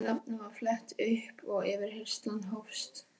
Mínu nafni var flett upp og yfirheyrslan hófst.